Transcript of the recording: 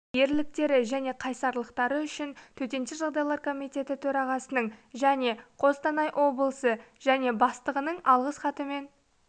ерліктері және қайсарлықтары үшін төтенше жағдайлар комитеті төрағасының және қостанай облысы және бастығының алғыс хатымен